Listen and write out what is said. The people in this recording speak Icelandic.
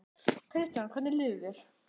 Kristján: Hvernig líður þér?